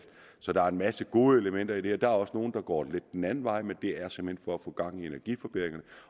så der er en masse gode elementer i det her der er også nogle der går lidt den anden vej men det er simpelt hen for at få gang i energiforbedringerne